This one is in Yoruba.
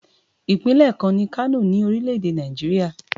Ìpínlẹ̀ kan ni Kano ní orílẹ̀ èdè Nàìjíríà.